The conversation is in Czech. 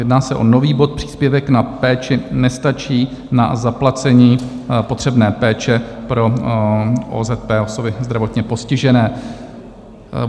Jedná se o nový bod Příspěvek na péči nestačí na zaplacení potřebné péče pro OZP, osoby zdravotně postižené.